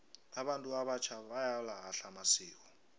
abantu abatjha bayawalahla amasiko